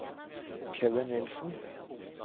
Kevin Nilssen